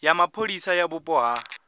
ya mapholisa ya vhupo ha